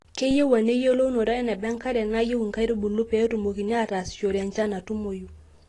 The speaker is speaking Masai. keyieu ena eyiolounoto eneba enkare nayieu inkaitubulupee etumokini aatasishore echan natumoyu